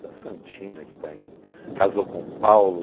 Tem a Santina, que está em, casou com o Paulo.